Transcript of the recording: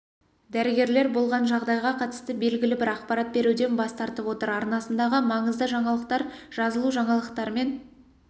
дәрігерлер болған жағдайға қатысты белгілі бір ақпарат беруден бас тартып отыр арнасындағы маңызды жаңалықтар жазылужаңалықтармен